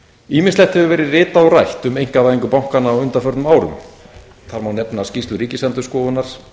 ýmislegt hefur verið ritað og rætt um einkavæðingu bankanna á undanförnum árum þar má nefna skýrslu ríkisendurskoðunar